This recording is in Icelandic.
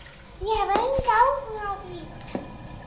Ég hef engan áhuga á því.